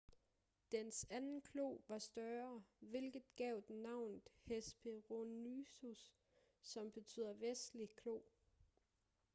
dens anden klo var større hvilket gav den navnet hesperonychus som betyder vestlig klo